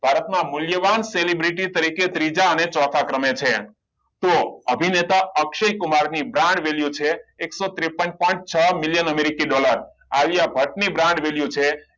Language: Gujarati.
ભારતના મૂલ્યવાન celebrity તરીકે ત્રીજા અને ચોથા ક્રમે છે તો અભિનેતા અક્ષય કુમાર ની brand value છે એકસો ટ્રેંપ્પન પોઇન્ટ છ miliion Americi dollar Alia Bhatt ની brand value છે